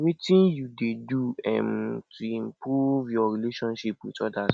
wetin you dey do um to improve your relationships with odas